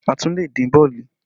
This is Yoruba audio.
A tún lè dín bọ̀ọ̀lì